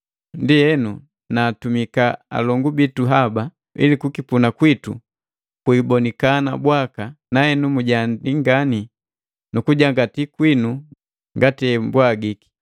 Ndienu, naatumika alongu bitu haba, ili kukipuna kwitu kwiibonikana bwaka, nahenu mujiandii ngani nukujangati kwinu ngati embwagiki.